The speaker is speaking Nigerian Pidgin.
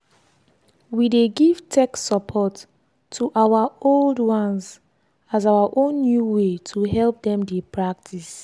we dey give tech support to our old ones as our own new way to help dem dey practice.